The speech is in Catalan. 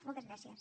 moltes gràcies